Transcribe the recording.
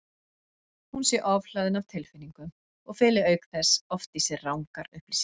Hún sé ofhlaðin af tilfinningum og feli auk þess oft í sér rangar upplýsingar.